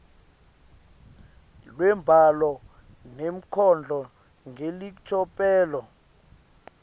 lwembhalo nenkondlo ngelicophelo